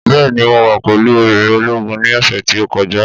Bẹ́ẹ̀ ni, mo wà pẹ̀lú obìnrin ológun ní ọ̀sẹ̀ tí ó kọjá